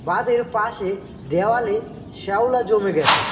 খাদের পাশে দেওয়ালে শ্যাওলা জমে গেছে।